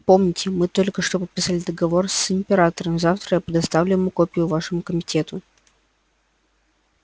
помните мы только что подписали договор с императором завтра я предоставлю ему копию вашему комитету